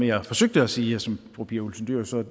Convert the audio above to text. jeg forsøgte at sige og som fru pia olsen dyhr så